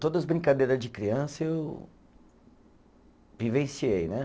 Todas as brincadeira de criança eu vivenciei né.